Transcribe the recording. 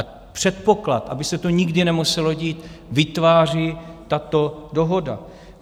A předpoklad, aby se to nikdy nemuselo dít, vytváří tato dohoda.